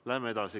Läheme edasi.